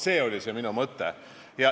See oli see minu mõte.